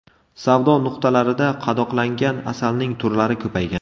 Savdo nuqtalarida qadoqlangan asalning turlari ko‘paygan.